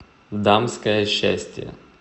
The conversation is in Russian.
дамское счастье